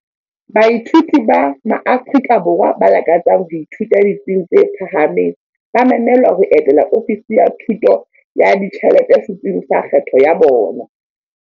Baithuti ba maAfrika Borwa ba lakatsang ho ithuta ditsing tse phahameng ba memelwa ho etela Ofisi ya Thuso ya Ditjhelete setsing sa kgetho ya bona.